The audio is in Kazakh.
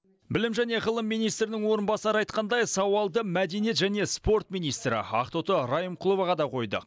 білім және ғылым министрінің орынбасары айтқандай сауалды мәдениет және спорт министрі ақтоты райымқұловаға да қойдық